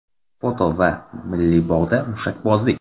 Foto va Milliy bog‘da mushakbozlik.